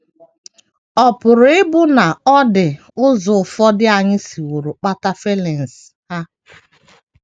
Ọ̀ pụrụ ịbụ na ọ dị ụzọ ụfọdụ anyị siworo kpata feelings ha?